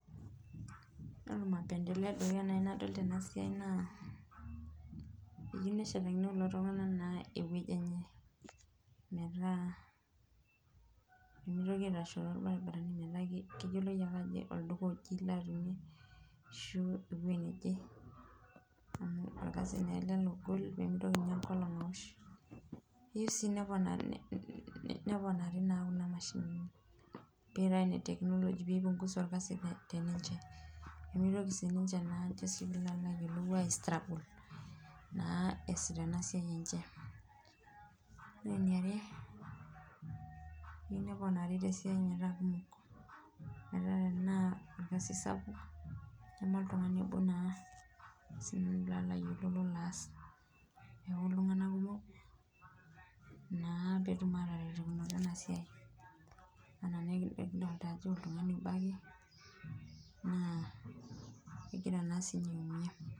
Yiolo mapendeleo naaji nadol tenasiai na eyieu neshatakini na kulo tunganak eweji enye, metaa pee mitoki aitashoo torbaribarani metaa keyiloi ake ajo olduka oje ilo atumie ashu eweji neje amu orkasi naa ele logol pee mitoki enkolong aosh. ayieu sii neponari kuna mshinini pee eitae ine technology pee eipunguza orkasi teninche pee mitoki naa siininche is struggle naa esita ena siai enche .ore eniare eyieu neponari tesiai metaa kumok .metaa tenaa orkasi sapuk neme oltungani obo naa lolo aas ,neeku naa iltunganak kumok naa pee etum ataretokinoto ena siai ,amu kidolita naa ajo oltungani obo ake naa kegira naa siininye aiumiya.